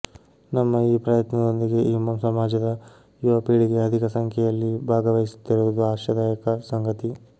ನಮ್ಮ ಈ ಪ್ರಯತ್ನದೊಂದಿಗೆ ಈ ಸಮಾಜದ ಯುವ ಪೀಳಿಗೆ ಅಧಿಕ ಸಂಖ್ಯೆಯಲ್ಲಿ ಭಾಗವಹಿಸುತ್ತಿರುವುದು ಆಶಾದಾಯಕ ಸಂಗತಿ